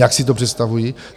Jak si to představují?